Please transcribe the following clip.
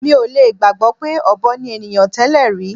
Mi ò lè gbàgbọ́ pé ọ̀bọ ni ènìyàn tẹ́lẹ̀ rí.